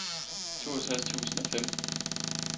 toogtres tusind og fem